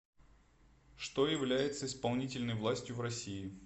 что является исполнительной властью в россии